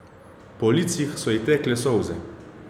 Po licih so ji tekle solze.